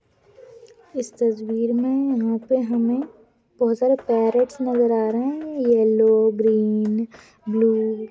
इस तज़वीर मे यहा पे हमे बहुत सारे पेरेट्स नजर आ रहे है येलो ग्रीन ब्लू ।